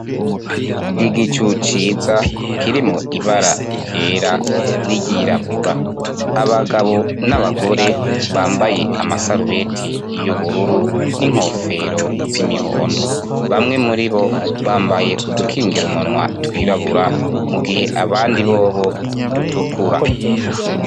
Igicu ciza kirimwo ibara ryera n'iryirabura abagabo n'abagore bambaye amasarubeti y'ubururu n'inkofero z'imihondo bamwe muribo bambaye udukingirumunwa twirabura mugihe abandi bobo dutukura.